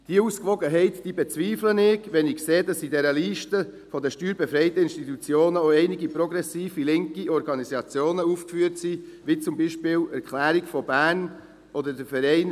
Diese Ausgewogenheit bezweifle ich, wenn ich sehe, dass auf der Liste der steuerbefreiten Institutionen auch einige progressive linke Organisationen aufgeführt sind, wie zum Beispiel die «Erklärung von Bern» oder der Verein